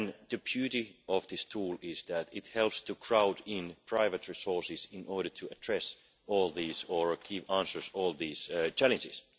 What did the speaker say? The beauty of this tool is that it helps to crowd in private resources in order to address all these or answer all these challenges.